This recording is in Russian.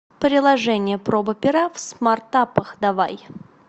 приложение проба пера в смартапах давай